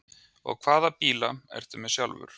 Og hvaða bíla ertu með sjálfur?